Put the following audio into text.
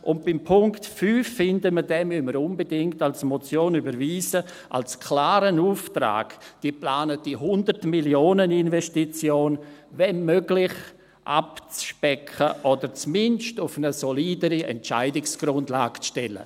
Beim Punkt 5 finden wir, dass wir diesen unbedingt als Motion überweisen müssen, als klaren Auftrag, die geplante Hundert-MillionenInvestition wenn möglich abzuspecken oder zumindest auf eine solidere Entscheidungsgrundlage zu stellen.